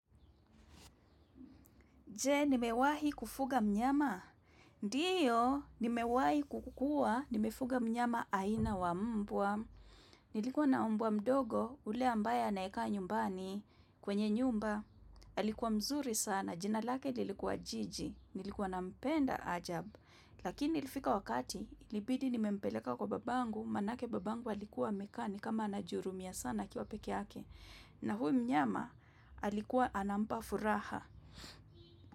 Je, nimewahi kufuga mnyama. Ndiyo, nimewahi kuwa, nimefuga mnyama aina wa mbwa. Nilikuwa na mbwa mdogo, ule ambaye anakaa nyumbani kwenye nyumba. Alikuwa mzuri sana, jina lake lilikuwa jiji. Nilikuwa na mpenda ajabu. Lakini ilifika wakati, ilibidi nimempeleka kwa babangu, maanake babangu alikuwa amekaa ni kama anajihurumia sana akiwa peke yake. Na huu mnyama, alikuwa anampa furaha.